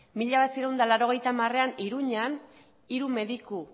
mila bederatziehun eta laurogeita hamarean iruñan hiru mediku